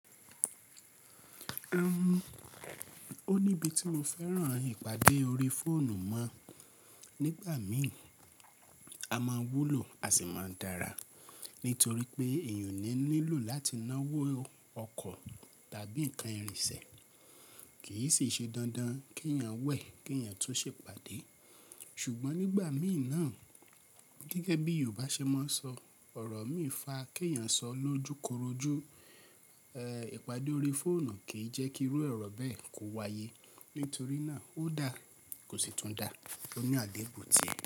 Ó níbi tí mo fẹ́ràn ìpàdé orí fóònù mọ̀. Nígbà míì a má wúlò a sì máa dára, nítorí pé èèyàn ò ní nílò láti náwó ọkọ̀ tàbí nǹkan ìrìnsẹ̀, kì í sì ṣe dandan kí èèyàn wẹ̀ kí èèyàn tún ṣe ìpàdé. Ṣùgbọ́n nígbà míì náà, gẹ́gẹ́ bí Yorùbá ṣe máa ń sọ, ọ̀rọ̀ mí fa kí èèyàn sọ lójúkorojú, ẹ̀ ìpàdé orí fóònù kì í jẹ́ kí irú ọ̀rọ̀ bẹ́ẹ̀ kò wáyé, nítorí náà ó dà kò sì tún dà, ó ní àdébùn tì.